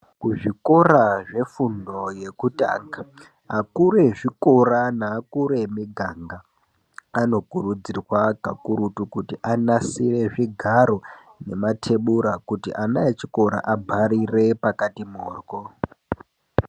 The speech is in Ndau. Kuzvikora zvefundo yekutanga, akuru ezvikora naakuru emiganga anokurudzirwa kakurutu kuti anasire zvigaro nematebura kuti ana echikora abharire pakati mhoryo.